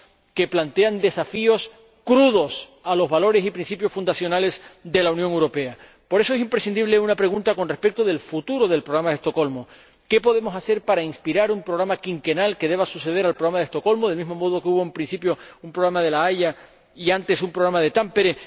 que plantean desafíos crudos a los valores y principios fundacionales de la Unión Europea. Por eso, es imprescindible una pregunta con respecto al futuro del Programa de Estocolmo ¿qué podemos hacer para inspirar un programa quinquenal que suceda al Programa de Estocolmo, del mismo modo que, al principio, hubo un Programa de la Haya y antes un Programa de Tampere?